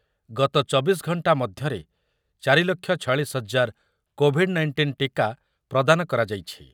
ଗତ ଚବିଶ ଘଣ୍ଟା ମଧ୍ୟରେ ଚାରି ଲକ୍ଷ ଛୟାଳିଶ ହଜାର କୋଭିଡ଼୍ ନାଇଣ୍ଟିନ୍ ଟିକା ପ୍ରଦାନ କରାଯାଇଛି।